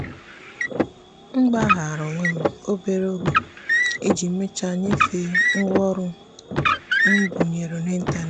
m mụmụrụ ọnụ ọchị ofụri site na nleta ha n'agbanyeghị na oge imecha ọrụ m na-abịa ngwa ngwa.